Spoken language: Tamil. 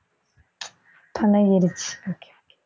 பழகிருச்சு